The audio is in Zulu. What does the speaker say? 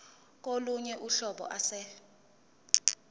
kolunye uhlobo ase